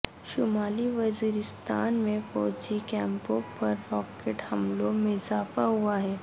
شمالی وزیرستان میں فوجی کیمپوں پر راکٹ حملوں میں اضافہ ہوا ہے